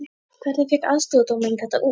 Hvernig fékk aðstoðardómarinn þetta út????